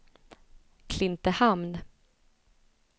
Klintehamn